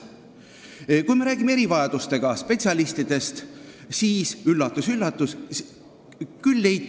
Erivajadustega lastega tegelevatest spetsialistidest rääkides leiti – üllatus-üllatus!